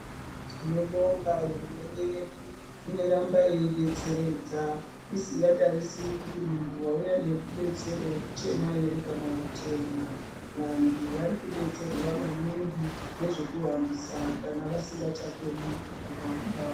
Tinobonga hurumende yedu inoramba yeidetseredza isingatarisri kuti munhu wauuya nerubatsiro muchena ere kana mutema, vanhu varikudetserwa maningi nezvekuhambisa kana vasingachakoni kuhamba.